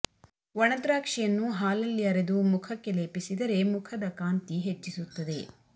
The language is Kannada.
ಒಣ ದ್ರಾಕ್ಷಿಯನ್ನು ಹಾಲಲ್ಲಿ ಅರೆದು ಮುಖಕ್ಕೆ ಲೇಪಿಸಿದರೆ ಮುಖದ ಕಾಂತಿ ಹೆಚ್ಚಿಸುತ್ತದೆ